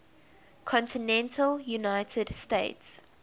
continental united states